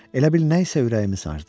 Elə bil nə isə ürəyimi sardı.